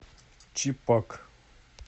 чипак